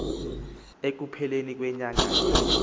ekupheleni kwenyanga ye